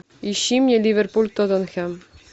ищи мне ливерпуль тоттенхэм